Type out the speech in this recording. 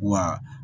Wa